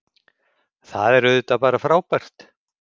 Það er auðvitað bara frábært